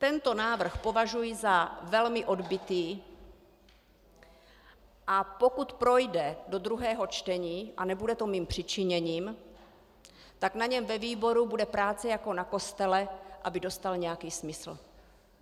Tento návrh považuji za velmi odbytý, a pokud projde do druhého čtení, a nebude to mým přičiněním, tak na něm ve výboru bude práce jako na kostele, aby dostal nějaký smysl.